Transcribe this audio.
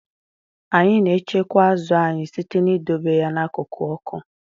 Anyị na-echekwa azụ anyị site n'idobe ya n'akụkụ ọkụ.